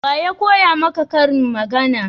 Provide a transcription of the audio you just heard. waya koya maka ƙarin magana?